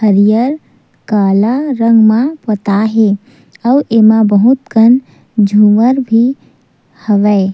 हरियर काला रंग म पोताय हे आऊ एमा बहुत कन झूमर भी हवय।